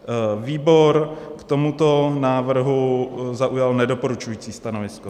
Výbor k tomuto návrhu zaujal nedoporučující stanovisko.